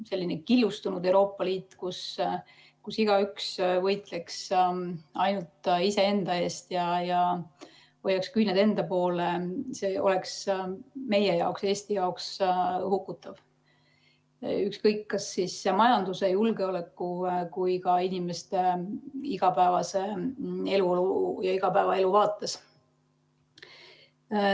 Selline killustunud Euroopa Liit, kus igaüks võitleks ainult iseenda eest ja hoiaks küüned enda poole, oleks meie jaoks, Eesti jaoks hukutav, ükskõik, kas siis majanduse, julgeoleku või ka inimeste igapäevase eluolu ja igapäevaelu vaates.